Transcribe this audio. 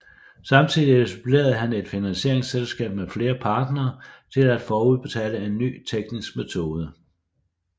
Samtidig etablerede han et finansieringsselskab med flere partnere til at forudbetale en ny teknisk metode